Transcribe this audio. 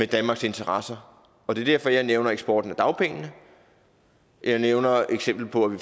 danmarks interesser og det er derfor jeg nævner eksporten af dagpengene jeg nævner et eksempel på at vi